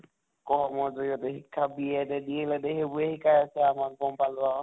জিৰয়তে শিক্ষা B Ed য়ে DL Ed য়ে সেইবোৰে শিকায় যে আমাক গম পালো আৰু